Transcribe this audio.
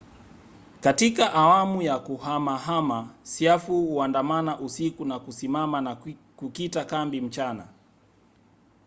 katika awamu ya kuhamahama siafu huandamana usiku na kusimama na kukita kambi mchana